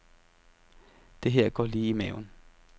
Det her går lige i maven.